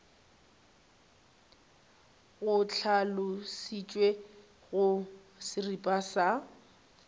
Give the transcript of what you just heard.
go hlalošitšwe go seripa sa